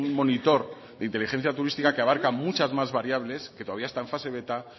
monitor de inteligencia turística que abarca muchas más variables que todavía está en fase beta